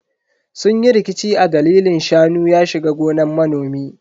Sun yi rikici a dalilin shanu ya shiga gonan manomi.